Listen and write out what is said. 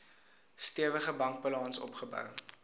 stewige bankbalans opgebou